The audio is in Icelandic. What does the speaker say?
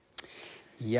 já